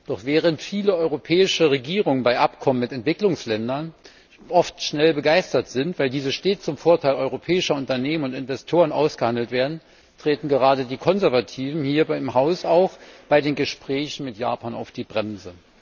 Doch während viele europäische Regierungen bei Abkommen mit Entwicklungsländern oft schnell begeistert sind, weil diese stets zum Vorteil europäischer Unternehmen und Investoren ausgehandelt werden, treten gerade die Konservativen auch hier im Haus bei den Gesprächen mit Japan auf die Bremse.